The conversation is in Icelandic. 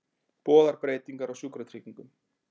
Boðar breytingar á sjúkratryggingum